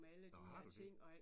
Nåh har du det?